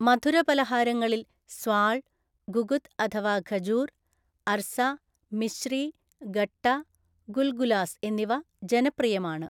മധുരപലഹാരങ്ങളിൽ സ്വാൾ, ഗുഗുത് അഥവാ ഖജൂർ, അർസ, മിശ്രി, ഗട്ട, ഗുൽഗുലാസ് എന്നിവ ജനപ്രിയമാണ്.